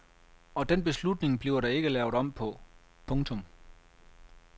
Og den beslutning bliver der ikke lavet om på. punktum